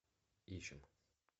ищем